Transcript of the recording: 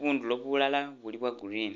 bundulo bulala buli bwa green